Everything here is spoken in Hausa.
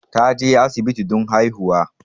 Ta je asibiti don haihuwa